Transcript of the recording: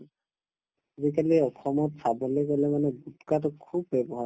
আজিকালি অসমত চাবলৈ গলে মানে গুটকাতো খুব ব্যৱহাৰ